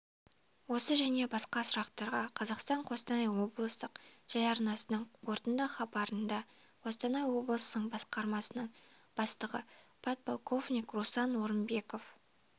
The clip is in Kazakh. осы және басқа сұрақтарға қазахстан-қостанай облыстық телеарнасының қорытынды хабарында қостанай облысының басқармасының бастығы подполковник руслан орынбеков